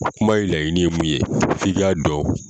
O Kuma in laɲini ye mun ye f'i k'a dɔn.